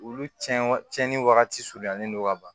Olu cɛn wa cɛnni wagati surunyalen don ka ban